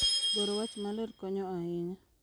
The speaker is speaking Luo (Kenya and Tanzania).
Goro wach maler konyo ahinya